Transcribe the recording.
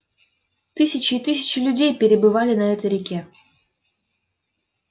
тысячи и тысячи людей перебывали на этой реке